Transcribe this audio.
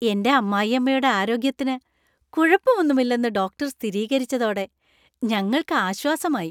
എന്‍റെ അമ്മായിയമ്മയുടെ ആരോഗ്യത്തിന് കുഴപ്പമൊന്നുമില്ലെന്ന് ഡോക്ടർ സ്ഥിരീകരിച്ചതോടെ ഞങ്ങൾക്ക് ആശ്വാസമായി.